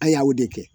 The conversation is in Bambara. A y'o de kɛ